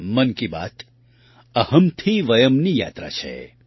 મન કી બાત અહમ્થી વયમ્ની યાત્રા છે